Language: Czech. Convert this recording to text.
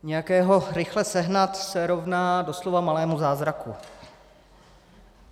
Nějakého rychle sehnat se rovná doslova malému zázraku.